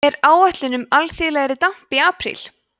er áætlun um alþýðlegri damp í apríl